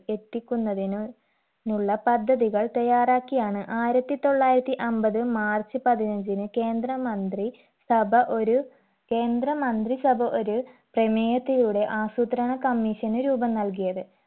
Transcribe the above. എത്തിക്കുന്നതിനു നുള്ള പദ്ധതികൾ തയ്യാറാക്കിയാണ് ആയിരത്തി തൊള്ളായിരത്തി അമ്പത് മാർച്ച് പതിനഞ്ചിന് കേന്ദ്ര മന്ത്രി സഭ ഒരു കേന്ദ്ര മന്ത്രി സഭ ഒരു പ്രമേയത്തിലൂടെ ആസൂത്രണ commission ന് രൂപം നൽകിയത്